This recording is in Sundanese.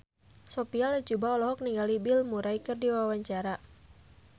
Sophia Latjuba olohok ningali Bill Murray keur diwawancara